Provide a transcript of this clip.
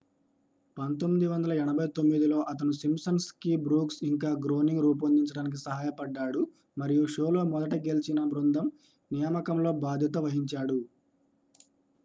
1989లో అతను Simpsons ki Brooks ఇంక Groening రూపొందించడానికి సహాయపడ్డాడు మరియు షోలో మొదటి గెలిచిన బృందం నియామకంలో బాధ్యత వహించాడు